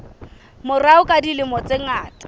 morao ka dilemo tse ngata